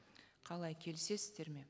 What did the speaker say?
қалай келісесіздер ме